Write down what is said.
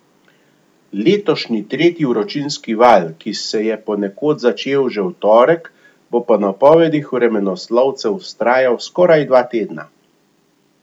Letošnji tretji vročinski val, ki se je ponekod začel že v torek, bo po napovedih vremenoslovcev vztrajal skoraj dva tedna.